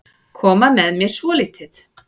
Koma með mér svolítið.